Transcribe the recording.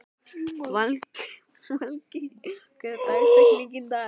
Valgý, hver er dagsetningin í dag?